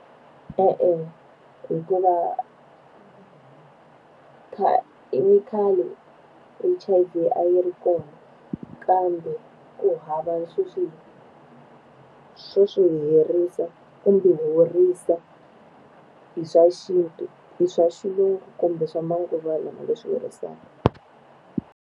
E-e, hikuva i khale H_I_V a yi ri kona, kambe ku hava swo swi swo swi herisa kumbe horisa, hi swa xintu, hi swa xilungu, kumbe swa manguva lawa leswi herisaka.